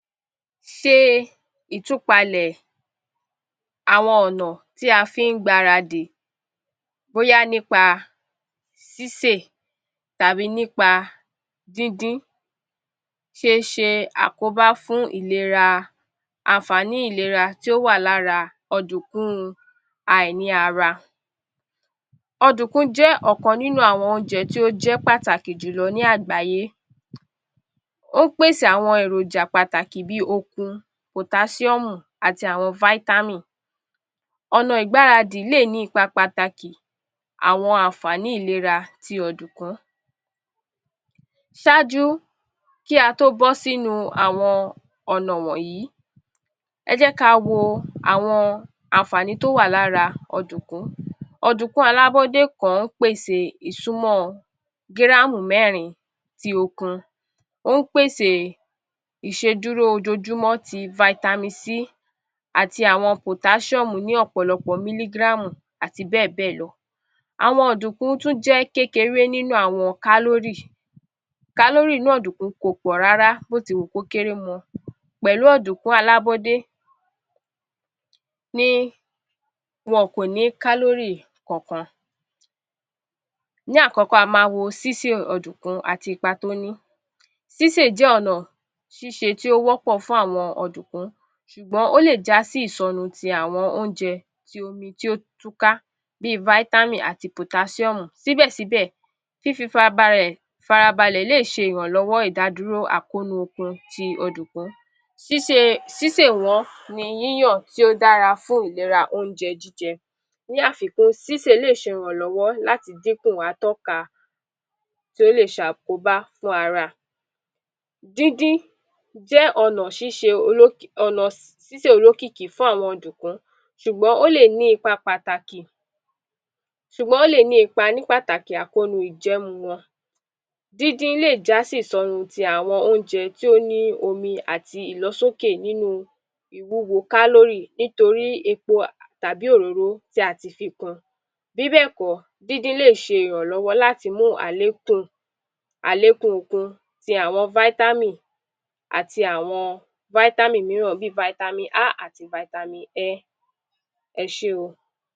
ṣe ìtúpalẹ̀̀ àwọn ọ̀nà tí a fín gbaradì bóyá nípa sísè tàbí nípa dín dín ṣe ṣe àkóbá fún ìlera ànfààní ìlera tí ó wà ọ̀dùǹkún à ì ní ara ọ̀dùǹkún jẹ́ ọ̀kan nínú àwọn óúnjẹ tí ó jẹ́ pàtàkì jùlọ ní àgbáyé ó pèsè àwọn èrònjà pàtàkì bí okun pòtásíọ̀mù àti àwọn fáítátìm ọ̀nà ìgbáradì lè ní ipa pàtàkì àwọn àǹfààní ìléra ti ọ̀dùǹkún ṣájú kí ató bọ́sí ínu àwọn ọ̀nà wọ̀nyìí ẹjẹ́ ka wo àwọn àǹfààní tó wà lára ọ̀dùǹkún ọ̀dùǹkún alábọ́dé kan pèsè ìsúmọ́ gíràmù mẹ́rìn-in tí ókún ó pèsè ìṣedúró ojojúmọ́ ti faitamin C àti àwọn pòtáṣíọ̀mù ní ọ̀pọ̀lọpọ̀ mílígíràmù àti bẹ́ẹ̀bẹ́ẹ̀lọ àwọn ọ̀dùǹkún tún jẹ́ kékeré nínú àwọn kálórì kálórì inú ọ̀dùǹkún kò pọ̀ rárá bí ó ti wùn kó kéré mọ pẹ̀lú ọ̀dùǹkún alábọ́dé ni wọn kò ní kálórì kankan ní àkọ́kọ́ a ma wo sísè ọ̀dùǹkún ati ipa tó ní sísè jẹ́ ọ̀nà ṣíṣe tí ó wọ́pọ̀ fún àwọn ọ̀dùǹkún ṣùgbọ́n ó lè já sí ìsọnu ti àwọn óúnjẹ ti omi tí ó tú ká bí fáítámìn àti pòtásíọ́mù síbẹ̀síbẹ̀ fí fi farabalẹ̀ farabalẹ̀ lè ṣe ìrànlọ́wọ́ ìdádúró àkónú okun ti ọ̀dùǹkún síse sísè wọ̀n ni yíyàn tí ó dára fún ìlera óúnjẹ jíjẹ ní àfikún sísè lè ṣe ìrànlọ́wọ́ láti díkùn atọ́ka tí ò lè ṣe àkóbá fún ara díndín jẹ́ ọ̀nà ṣíṣe ọ̀nà sísè olókìkí fún àwọn ọ̀dùǹkún ṣúgbọ̀n ó lè ní ipa pàtàkì ṣúgbọ̀n ó lè ní ipa ní pàtàkì àkónú ìjẹ́mu wọn díndín lè jásí ìsọnu ti àwọn óúnjẹ tí ó ní omi àti ìlọsókè nínú ìwuwò kálórì nítorí epo tàbí òroró tí ati fi kun bíbẹ̀kọ díndín le ṣe irànlọ́wọ́ láti mú àlekún àlekún okun ti àwọn fáítámìn àti àwọn fáítámìn mìíràn bí fáítámìn A àti fáítámìn Ẹ ẹṣé oo